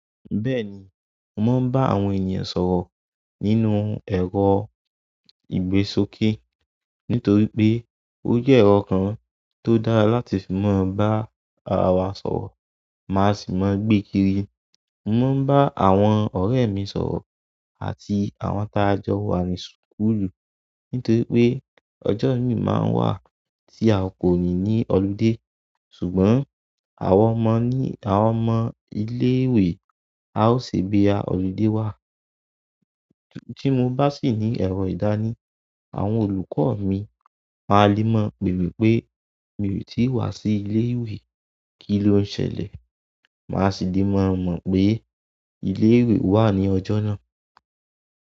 Bẹ́ẹ̀ni, mò ń bá àwọn ènìyàn sọ̀rọ̀ nínú ẹ̀rọ ìgbésókè nítorí pé ó jẹ́ ẹ̀rọ kan tó dára láti fi máa bá ara wa sọ̀rọ̀. Maa si ma gbe kiri. Mò maa ń bá àwọn ọ̀rẹ́ mi sọ̀rọ̀ àti àwọn ta jọ wá ní school nítorí pé ọjọ́ orí máa ń wà tí a kò ní ní holiday. Ṣùgbọ́n àwọn ọmọ ní, àwọn ọmọ ilé ìwé á ṣebí boya holiday wá. Tí mo bá sì ní ẹ̀rọ yi dáni, àwọn olùkọ́ mi máa le mọ̀ pè mí pé, "mìí tí wá sí ilé ìwé, kí ló ń ṣẹlẹ̀?" maa si le ma mo pe ilewe wa ni ojo na.